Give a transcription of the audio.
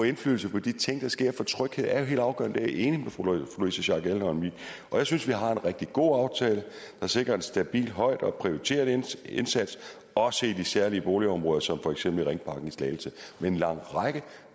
indflydelse på de ting der sker for tryghed er jo helt afgørende jeg enig med fru louise schack elholm i jeg synes vi har en rigtig god aftale der sikrer en stabil og højt prioriteret indsats indsats også i de særlige boligområder som for eksempel ringparken i slagelse med en lang række